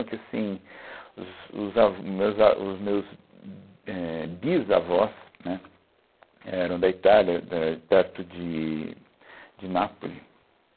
que assim, os os avós, meus a, os meus éh, bisavós, né, eram da Itália, da perto de de Nápoles.